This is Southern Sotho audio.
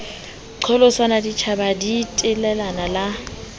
qholotsanwa ditjhaba di telela le